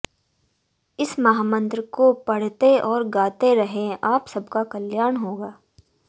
इस महामंत्र को पढ़ते और गाते रहें आप सबका कल्याण होगा